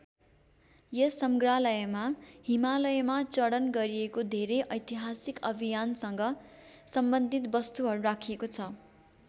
यस संग्रहालयमा हिमालयमा चडन गरिएको धेरै ऐतिहासिक अभियानसग सम्बन्धित वस्‍तुहरू राखिएको छ।